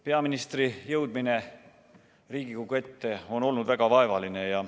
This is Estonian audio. Peaministri jõudmine Riigikogu ette on olnud väga vaevaline.